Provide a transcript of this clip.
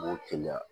B'o keleya